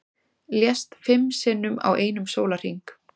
Lést fimm sinnum á einum sólarhring